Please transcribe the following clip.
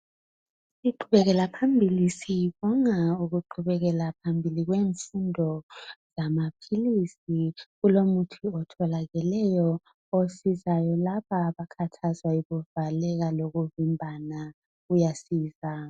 Siqhubekela phambili sibonga ukuqhubekela phambili kwemfundo lamaphilisi kulomuthi otholakeleyo osizayo laba abakhathazwa yikuvaleka lokuvimbana uyasiza